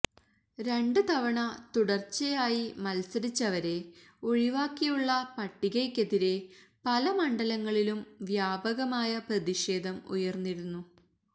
രണ്ട് തവണ തുടര്ച്ചായി മത്സരിച്ചവരെ ഒഴിവാക്കിയുള്ള പട്ടികയ്ക്കെതിരെ പല മണ്ഡലങ്ങളിലും വ്യാപകമായ പ്രതിഷേധം ഉയര്ന്നിരുന്നു